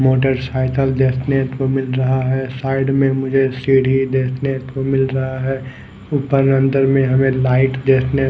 motorcycle देखने को मिल रहा है साईड में मुझे सीडी देखने को मिल रहा है ऊपर अंदर में हमे लाइट देखने--